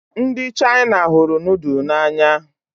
Ndị Chaina hụrụ nudulu n'anya